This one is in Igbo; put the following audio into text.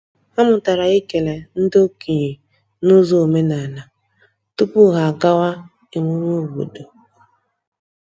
Ha mụtara ịkele ndị okenye n’ụzọ omenala tupu ha agawa emume obodo.